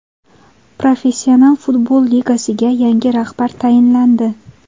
Professional futbol ligasiga yangi rahbar tayinlandi.